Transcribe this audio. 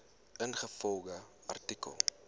ingevolge artikel